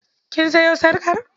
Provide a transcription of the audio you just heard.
Kin sayo sarƙar?